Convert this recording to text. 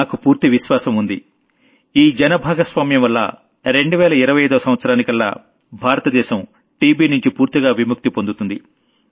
నాకు పూర్తి విశ్వాసం ఉంది భక్తితో కూడిన ఈ జన భాగస్వామ్యం వల్ల 2025వ సంవత్సరానికల్లా భారత దేశం టీబీనుంచి పూర్తిగా విముక్తి పొందుతుంది